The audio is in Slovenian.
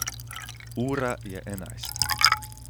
Ura je enajst.